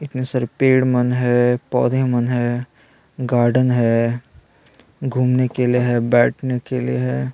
पेड़ मन है पौधे मन है गार्डन है घूमने के लिए है बैठने के लिए है।